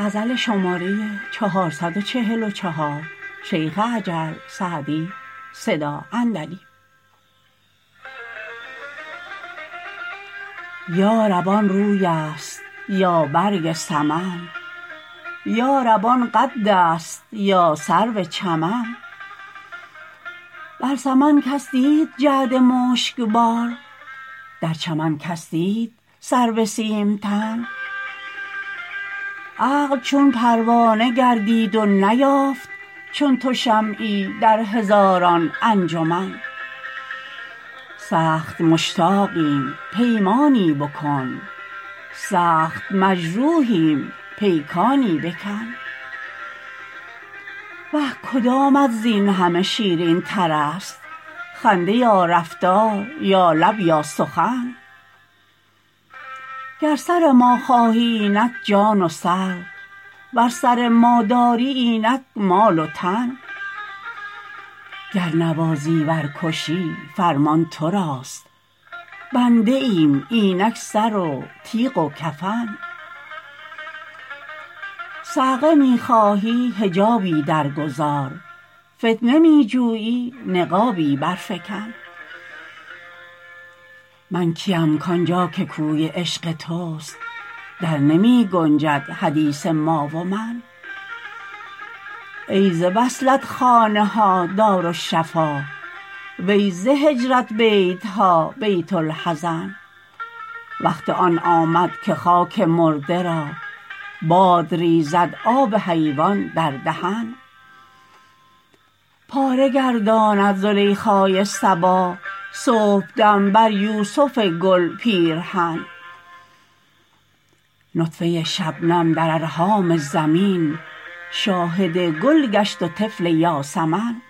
یا رب آن روی است یا برگ سمن یا رب آن قد است یا سرو چمن بر سمن کس دید جعد مشک بار در چمن کس دید سرو سیم تن عقل چون پروانه گردید و نیافت چون تو شمعی در هزاران انجمن سخت مشتاقیم پیمانی بکن سخت مجروحیم پیکانی بکن وه کدامت زین همه شیرین تر است خنده یا رفتار یا لب یا سخن گر سر ما خواهی اینک جان و سر ور سر ما داری اینک مال و تن گر نوازی ور کشی فرمان تو راست بنده ایم اینک سر و تیغ و کفن صعقه می خواهی حجابی در گذار فتنه می جویی نقابی بر فکن من کیم کآن جا که کوی عشق توست در نمی گنجد حدیث ما و من ای ز وصلت خانه ها دارالشفا وی ز هجرت بیت ها بیت الحزن وقت آن آمد که خاک مرده را باد ریزد آب حیوان در دهن پاره گرداند زلیخای صبا صبحدم بر یوسف گل پیرهن نطفه شبنم در ارحام زمین شاهد گل گشت و طفل یاسمن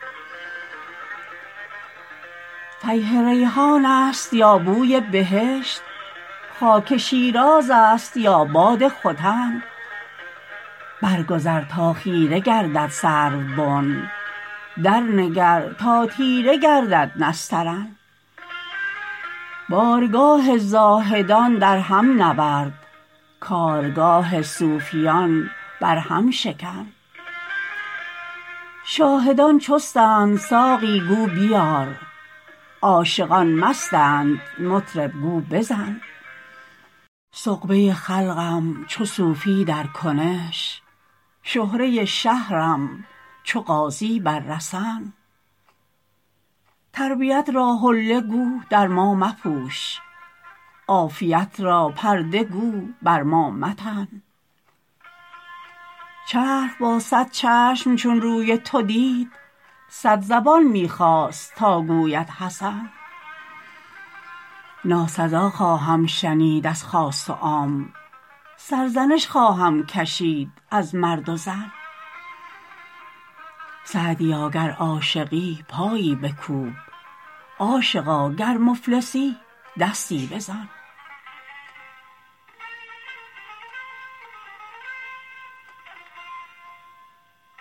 فیح ریحان است یا بوی بهشت خاک شیراز است یا باد ختن بر گذر تا خیره گردد سروبن در نگر تا تیره گردد نسترن بارگاه زاهدان در هم نورد کارگاه صوفیان بر هم شکن شاهدان چستند ساقی گو بیار عاشقان مستند مطرب گو بزن سغبه خلقم چو صوفی در کنش شهره شهرم چو غازی بر رسن تربیت را حله گو در ما مپوش عافیت را پرده گو بر ما متن چرخ با صد چشم چون روی تو دید صد زبان می خواست تا گوید حسن ناسزا خواهم شنید از خاص و عام سرزنش خواهم کشید از مرد و زن سعدیا گر عاشقی پایی بکوب عاشقا گر مفلسی دستی بزن